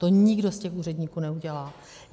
To nikdo z těch úředníků neudělá.